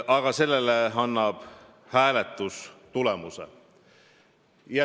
Aga selle otsustab hääletus.